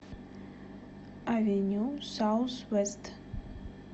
авеню саусвэст